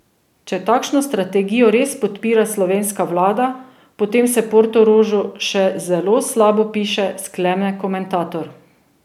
Če takšno strategijo res podpira slovenska vlada, potem se Portorožu še zelo slabo piše, sklene komentator.